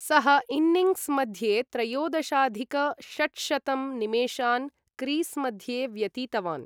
सः इन्निङ्ग्स् मध्ये त्रयोदशाधिक षट्शतं निमेषान् क्रीस् मध्ये व्यतीतवान्।